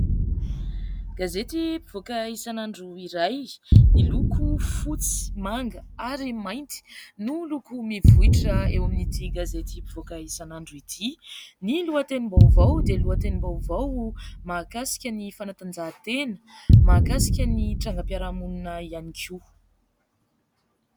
Gazety mpivoaka isan'andro iray miloko fotsy, manga ary mainty no loko mivoitra eo amin'ity gazety mpivoaka isan'andro ity. Ny lohatenim-baovao dia lohatenim-baovao mahakasika ny fanatanjahantena, mahakasika ny trangam-piarahamonina ihany koa.